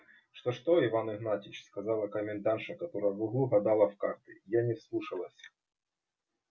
что что иван игнатьич сказала комендантша которая в углу гадала в карты я не вслушалась